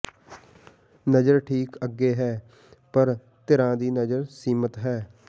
ਨਜ਼ਰ ਠੀਕ ਅੱਗੇ ਹੈ ਪਰ ਧਿਰਾਂ ਦੀ ਨਜ਼ਰ ਸੀਮਿਤ ਹੈ